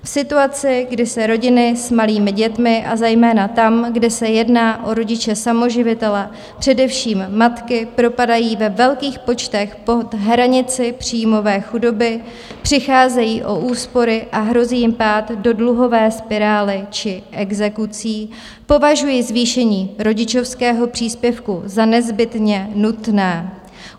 V situaci, kdy se rodiny s malými dětmi, a zejména tam, kde se jedná o rodiče samoživitele, především matky, propadají ve velkých počtech pod hranici příjmové chudoby, přicházejí o úspory a hrozí jim pád do dluhové spirály či exekucí, považuji zvýšení rodičovského příspěvku za nezbytně nutné.